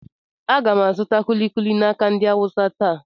Aga m azụ kuli kuli n'aka ndị Awụsa taa.